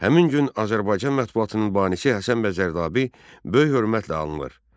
Həmin gün Azərbaycan mətbuatının banisi Həsən bəy Zərdabi böyük hörmətlə anılır.